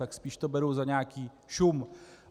Tak spíš to beru za nějaký šum.